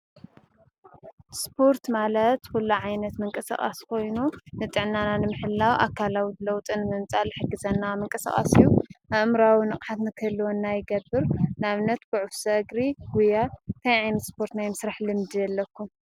እስፖርት ማለት ኲሉ ዓይነት ምንቀ ሰቓስ ኾይኑ ንጥዕናና ንምሕላው ኣካላዊ ለውጢ ንምምፃእ ዝሕግዘና ምንቀሰቓስ እዩ፡፡ ኣእምራዊ ንቕሓት ንኽህልና ይገብር፡፡ ንኣብ ነት ዑፍ ሰግሪ ፣ጕያ እስፖርት ናይ ምስርሕ ልምዲ ዶ ኣለኩም?